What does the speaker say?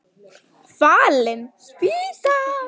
Fallin spýtan!